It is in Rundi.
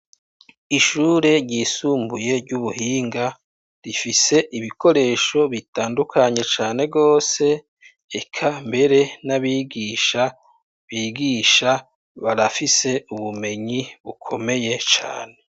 Ishure ryisumbuye ry'ubuhinga, rifise ibikoresho bitandukanye cane rwose, eka mbere n'abigisha bigisha barafise ubumenyi bukomeye cane.